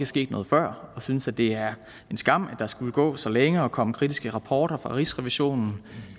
sket noget før og vi synes at det er en skam at der skulle gå så længe og komme kritiske rapporter fra rigsrevisionen